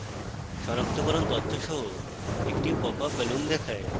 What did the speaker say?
সনাক্তকরণ তথ্য সহ একটি popup balloon দেখায়